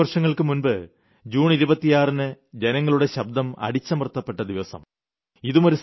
കുറച്ചു വർഷങ്ങൾക്കു മുമ്പ് ജൂൺ 26ന് ജനങ്ങളുടെ ശബ്ദം അടിച്ചമർത്തപ്പെട്ട ദിവസം